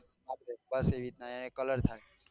બસ એ રીત નાં અહી કાલર થાય.